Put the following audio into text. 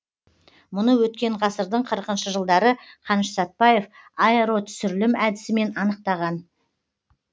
мұны өткен ғасырдың қырықыншы жылдары қаныш сәтпаев аэротүсірілім әдісімен аяқтаған